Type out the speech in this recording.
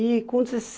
E com